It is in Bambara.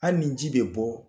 Hali ni ji bɛ bɔ